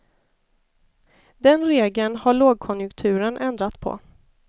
Den regeln har lågkonjunkturen ändrat på.